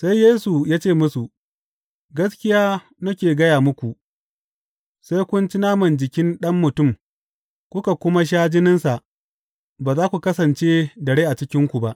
Sai Yesu ya ce musu, Gaskiya nake gaya muku, sai kun ci naman jikin Ɗan Mutum kuka kuma sha jininsa, ba za ku kasance da rai a cikinku ba.